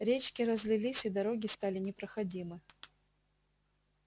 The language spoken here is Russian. речки разлились и дороги стали непроходимы